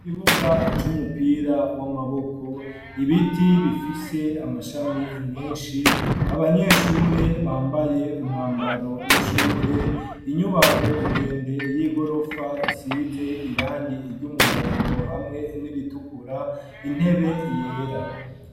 Ikibuga c'umupira wamaboko ibiti bifise amashami menshi abanyeshure bambaye umwambaro w'ishure inyubako ndende y'igorofa isize irangi ry'umuhondo hamwe n'iritukura intebe yera.